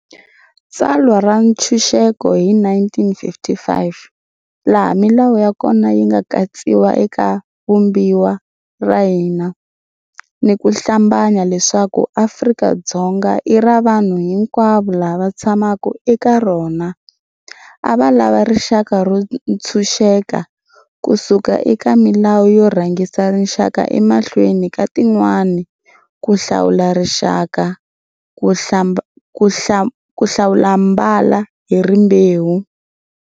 Tsalwa ra Ntshuxeko hi 1955, laha milawu ya kona yi nga katsiwa eka Vumbiwa ra hina, ni ku hlambanya leswaku Afrika-Dzonga i ra vanhu hinkwavo lava tshamaka eka rona, a va lava rixaka ro ntshuxeka kusuka eka milawu yo rhangisa rixaka emahlweni ka tin'wana, ku hlawula rixaka, ku hlawulambala ni rimbewu